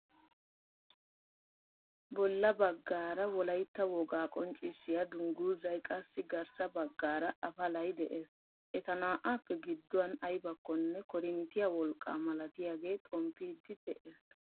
Bolla baggaara wollaytta wogaa qonccisiyaa dungguzay qassi garssaa baggaara apalay de'ees. eta na"aappe gidduwaan aybakonne korinttiyaa wolqqaa malatiyaage xomppiidi de'ees.